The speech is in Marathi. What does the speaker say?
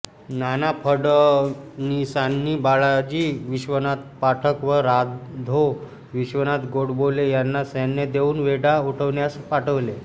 नाना फडणीसांनी बाळाजी विश्वनाथ पाठक व राधो विश्वनाथ गोडबोले यांना सैन्य देऊन वेढा उठवण्यास पाठवले